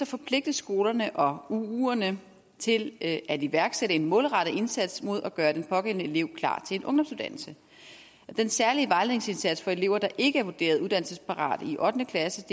forpligtes skolerne og uuerne til at iværksætte en målrettet indsats mod at gøre den pågældende elev klar til en ungdomsuddannelse den særlige vejledningsindsats for elever der ikke er vurderet uddannelsesparate i ottende klasse